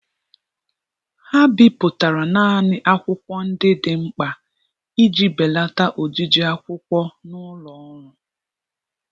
ha bipụtara naanị akwụkwọ ndị dị mkpa iji belata ojiji akwụkwọ n'ụlọ ọrụ.